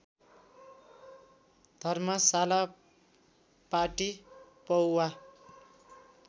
धर्मशाला पाटी पौवा